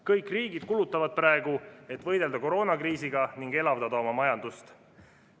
Kõik riigid kulutavad praegu, et võidelda koroonakriisiga ning elavdada oma majandust.